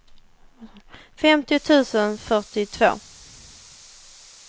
femtio tusen fyrtiotvå